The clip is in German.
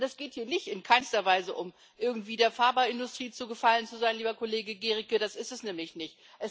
Es geht hier in keinster Weise darum, irgendwie der Pharmaindustrie zu Gefallen zu sein, lieber Kollege Gericke, das ist es nämlich nicht.